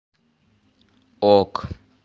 ок